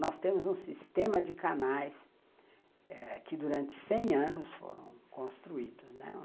Nós temos um sistema de canais ãh que durante cem anos foram construídos.